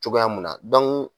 Cogoya mun na